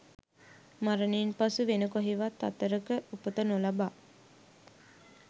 මරණයෙන් පසු වෙන කොහේවත් අතරක උපත නොලබා